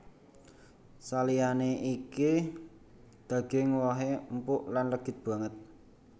Saliyané iku daging wohé empuk lan legit banget